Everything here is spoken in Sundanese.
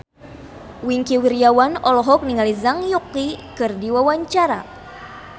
Wingky Wiryawan olohok ningali Zhang Yuqi keur diwawancara